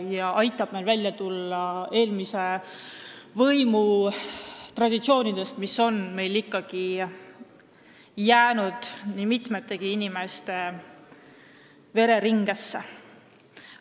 See aitab meil välja tulla eelmise võimu traditsioonidest, mis on ikkagi jäänud nii mitmegi inimese vereringesse.